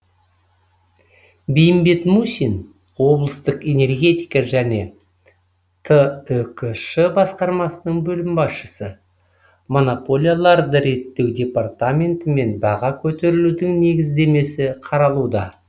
бейімбет мусин облыстық энергетика және түкш басқармасының бөлім басшысы монополияларды реттеу департаментімен баға көтерілудің негіздемесі қаралуда